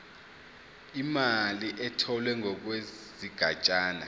imali etholwe ngokwesigatshana